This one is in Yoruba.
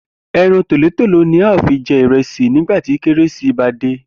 E̩ran tòlótòló ni a óò fi je̩ ìre̩sì nígbà tí Kérésìmesì bá dé